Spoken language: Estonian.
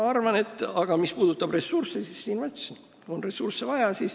Aga mis puudutab ressursse, siis neid on vaja, nagu ma ütlesin.